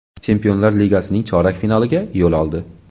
Chempionlar Ligasining chorak finaliga yo‘l oldi.